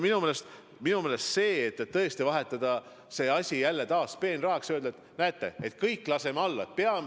Minu meelest te tõesti tahate selle asja jälle peenrahaks vahetada ja öelda, et näete, et kõik laseme alla.